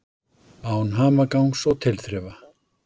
Án hamagangs og tilþrifa.